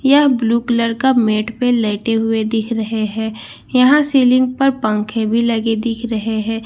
यह blue colour का bed पे लेटे हुए दिख रहे है यहां सीलिंग पर पंखे भी लगे दिख रहे हैं यहां --